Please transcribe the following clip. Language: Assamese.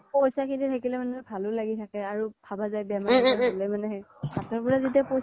পইচা খিনি থাকিলে মানে ভালো লাগি থাকে আৰু ভাবা যাই বেমাৰ আজাৰ হ্'লে মানে হাতৰ পৰা যেতিয়া